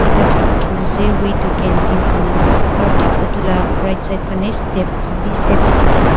ekta kiba likhina ase way to canteen koina aru thik utu la right side phane step khan bi step bi dikhi ase.